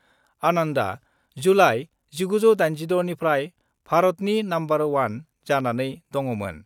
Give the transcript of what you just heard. आनन्दआ जुलाइ 1986 निफ्राय भारतनि नम्बर 1 जानानै दङमोन।